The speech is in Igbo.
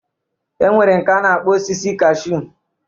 E nwere nke a na-akpọ osisi kaashu.